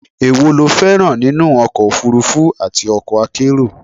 èwo lo féràn nínú ọkọ̀ òfurufú àti okọ̀ akérò?